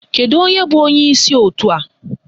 Kedu onye bụ onyeisi òtù a?